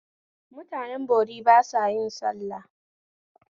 Mutanen bori ba sa yin sallah